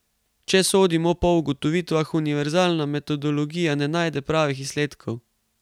Če sodimo po ugotovitvah, univerzalna metodologija ne daje pravih izsledkov.